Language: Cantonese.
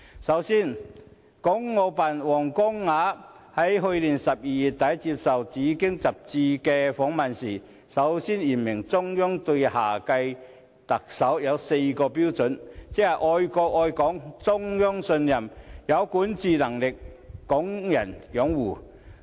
首先，港澳辦主任王光亞在去年12月底接受《紫荊》雜誌訪問時，首次言明中央就下屆特首所訂的四大標準，即"愛國愛港、中央信任、有管治能力、港人擁護"。